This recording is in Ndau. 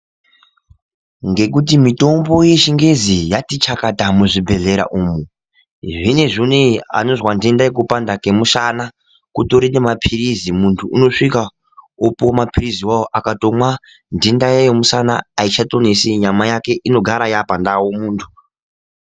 Ngekuti mutombo yechingezi yati chakata muzvibhedhlera umu zvinezvi unowu anozwa ntenda yekupanda kwemusana kutori nemapirizi mu tu unosvika opuwe mapirizi iwawo akatomwa ntenda yemusana aichatonesi aichatonesi nyama yake inogara yaapandau muntu.